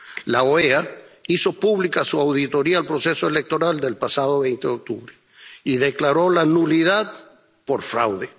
La OEA hizo pública su auditoría al proceso electoral del pasado 20 de octubre y declaró la nulidad por fraude.